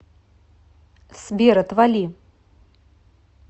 сбер отвали